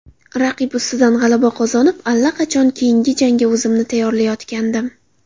Raqib ustidan g‘alaba qozonib, allaqachon keyingi jangga o‘zimni tayyorlayotgandim.